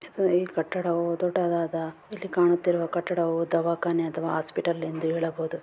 ಇದು ಈ ಕಟ್ಟಡವು ದೊಡ್ಡದಾದ ಇಲ್ಲಿ ಕಾಣ್ಣುತ್ತಿರುವ ಕಟ್ಟಡವು ದವಾಖಾನೆ ಅಥವಾ ಹಾಸ್ಪಿಟಲ್ .